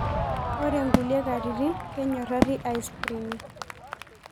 Ore ngulie katitin, kenyorari aspirini.